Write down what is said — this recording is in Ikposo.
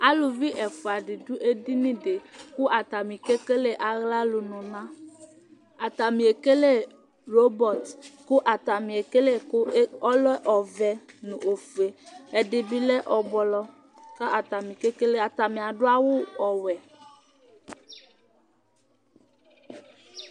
Alʋvi ɛfʋa di du ɛdiní di kʋ atani kekele aɣla luna Atani ekele robɔt kʋ atani ekele kʋ ɔlɛ ɔvɛ nʋ ɔfʋe Ɛdí bi lɛ ɛblɔ Atani adu awu ɔwɛ